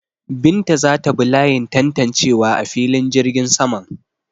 Binta za ta bi layin tantancewa a filin jirgin saman.